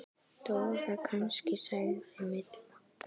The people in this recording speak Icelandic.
Dóra kannski? sagði Milla.